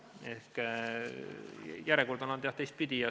Järjekord on olnud, jah, teistpidi.